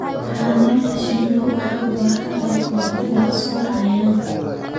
Xannaanada shinnidu waxay u baahan tahay ka-hortagga sunta cayayaanka.